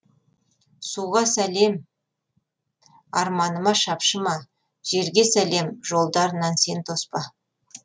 суға салем арманыма шапшыма желге салем жолдарынан сен тоспа